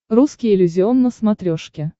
русский иллюзион на смотрешке